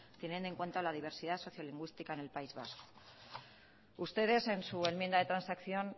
teniendo en cuanta la diversidad socio lingüística en el país vasco ustedes en su enmienda de transacción